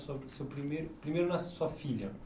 Sua seu primeiro, primeiro nasce sua filha.